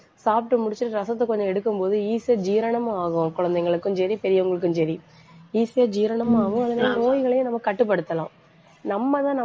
சாப்பிட்டு முடிச்சிட்டு ரசத்தை கொஞ்சம் எடுக்கும்போது easy ஆ ஜீரணமாகும் குழந்தைகளுக்கும் சரி, பெரியவங்களுக்கும் சரி. easy ஆ ஜீரணமாகும். அதனால, நோய்களையும் நம்ம கட்டுப்படுத்தலாம் நம்மதான் நம்ம